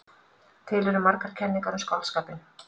Til eru margar kenningar um skáldskapinn.